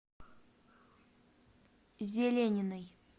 зелениной